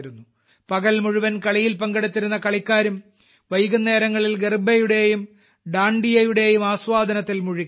പകൽ മുഴുവനും കളിയിൽ പങ്കെടുത്തിരുന്നകളിക്കാരും വൈകുന്നേരങ്ങളിൽ ഗർബയുടെയും ദാണ്ഡിയയുടെയും ആസ്വാദനത്തിൽ മുഴുകി